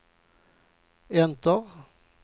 enter